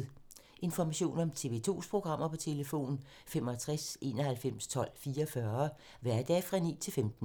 Information om TV 2's programmer: 65 91 12 44, hverdage 9-15.